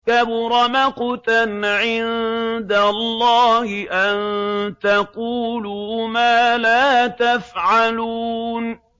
كَبُرَ مَقْتًا عِندَ اللَّهِ أَن تَقُولُوا مَا لَا تَفْعَلُونَ